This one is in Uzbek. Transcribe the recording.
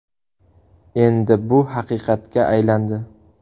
Endi bu haqiqatga aylandi.